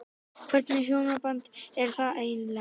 Hvernig hjónaband er það eiginlega?